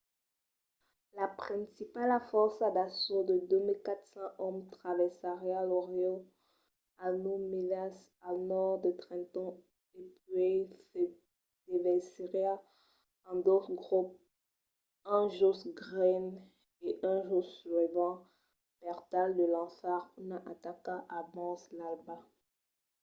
la principala fòrça d'assaut de 2 400 òmes traversariá lo riu a nòu milas al nòrd de trenton e puèi se devesiriá en dos grops un jos greene e un jos sullivan per tal de lançar una ataca abans l'alba